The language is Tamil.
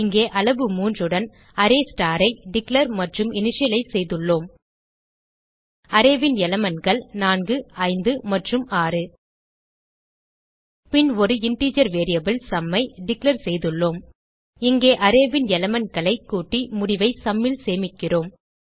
இங்கே அளவு 3 உடன் அரே ஸ்டார் ஐ டிக்ளேர் மற்றும் இனிஷியலைஸ் செய்துள்ளோம் அரே ன் elementகள் 4 5 மற்றும் 6 பின் ஒரு இன்டிஜர் வேரியபிள் சும் ஐ டிக்ளேர் செய்துள்ளோம் இங்கே அரே ன் எலிமெண்ட் களை கூட்டி முடிவை sumல் சேமிக்கிறோம்